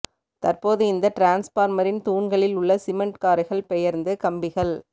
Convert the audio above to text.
தற்போது இந்த டிரான்ஸ்பார்மரின் துாண்களில் உள்ள சிமென்ட் காரைகள் பெயர்ந்து கம்பிகள்